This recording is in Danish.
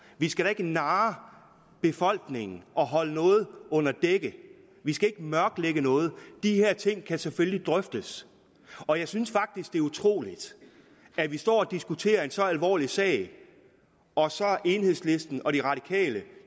vi skal da ikke narre befolkningen og holde noget dækket vi skal ikke mørklægge noget de her ting kan selvfølgelig drøftes og jeg synes faktisk det er utroligt at vi står og diskuterer en så alvorlig sag og så er enhedslisten og de radikale